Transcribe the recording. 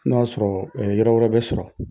N'o y'a sɔrɔ yɔrɔ wɛrɛ bɛ sɔrɔ.